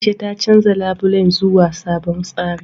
A'isha ta canja labulen zuwa sabon tsari.